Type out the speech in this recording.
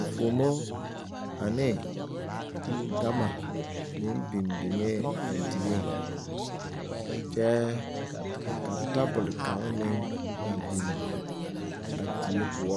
nfuomo ane gama meng bing bingɛɛ a deɛ kye ka tabol kanga meng a bing a deɛ pou.